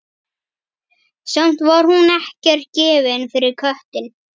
Samt var hún ekkert gefin fyrir köttinn.